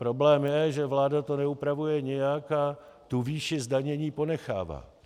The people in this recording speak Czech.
Problém je, že vláda to neupravuje nijak a tu výši zdanění ponechává.